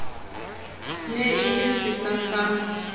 ne e le sehla sa